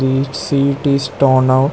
This seat is torn out.